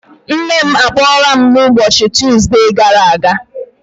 Nne m a kpọrọ m n'ụbọchị Tuuzde gara aga?